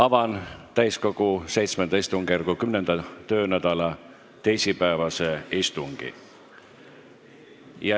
Avan täiskogu VII istungjärgu 10. töönädala teisipäevase istungi.